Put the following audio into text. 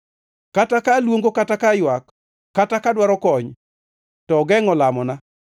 Kata ka aluongo kata kaywak ka dwaro kony, to ogengʼo lamona.